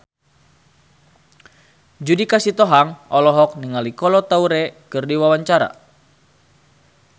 Judika Sitohang olohok ningali Kolo Taure keur diwawancara